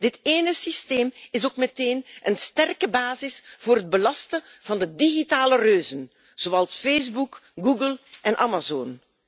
Dit ene systeem is ook meteen een sterke basis voor het belasten van de digitale reuzen zoals Facebook, Google en Amazon.